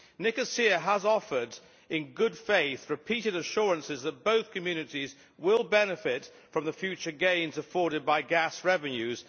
Nicosia has offered, in good faith, repeated assurances that both communities will benefit from the future gains afforded by gas revenues.